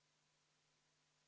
Palun võtta seisukoht ja hääletada!